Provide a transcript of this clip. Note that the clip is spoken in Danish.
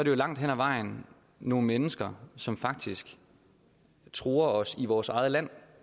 jo langt hen ad vejen nogle mennesker som faktisk truer os i vores eget land